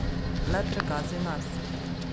Le pregazi nas.